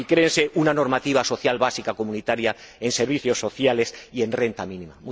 Y ¡créese una normativa social básica comunitaria en servicios sociales y en renta mínima!